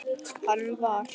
Hann var.